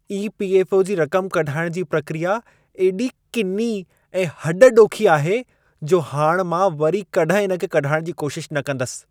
EPFO. जी रक़म कढाइण जी प्रक्रिया एॾी किनी ऐं हॾ ॾोखी आहे, जो हाणि मां वरी कॾहिं इन खे कढाइण जी कोशिश न कंदसि।